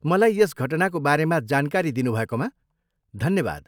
मलाई यस घटनाको बारेमा जानकारी दिनुभएकोमा धन्यवाद।